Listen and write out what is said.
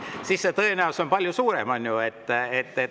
Siis on see tõenäosus palju suurem, on ju.